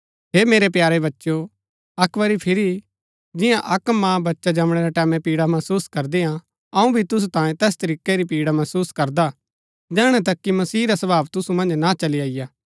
हे मेरै प्यारे बच्चेओ अक्क बरी फिरी जिन्या अक्क माँ बच्चा जमणै रै टैमैं पीड़ा महसुस करदी हा अऊँ भी तुसु तांये तैस तरीकै री पीड़ा महसुस करू करदा जैहणै तक कि मसीह रा स्वभाव तुसु मन्ज ना चली अईआ